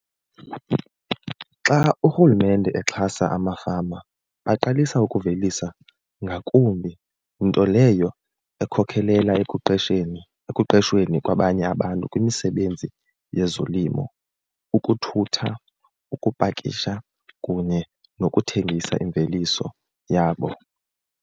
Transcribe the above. Xa urhulumente exhasa amafama baqalisa ukuvelisa ngakumbi, nto leyo ekhokhelela ekuqesheni ekuqehsweni kwabanye abantu kwimisebenzi yezolimo, ukuthutha, ukupakisha, kunye nokuthengisa imveliso yabo.